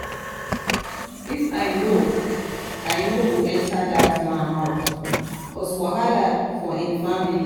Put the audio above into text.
if i no i no go enter dat man house cause wahala for im family.